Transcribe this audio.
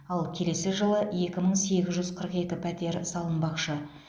ал келесі жылы екі мың сегіз жүз қырық екі пәтер салынбақшы